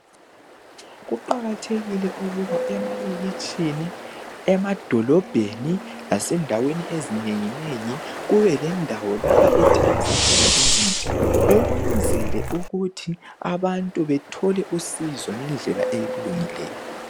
Kuqakathekile ukuba emalokitshini , emadolobheni lasendaweni ezinengi nengi kube lendawo lapha ethengisa khona imithi ukwenzela ukuthi abantu bethole usizo ngendlela elungileyo.